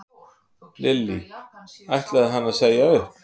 Lillý: Ætlaði hann að segja upp?